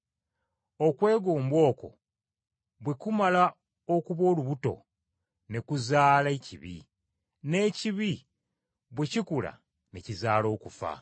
Okwegomba okwo bwe kumala okuba olubuto, ne kuzaala ekibi, n’ekibi bwe kikula ne kizaala okufa.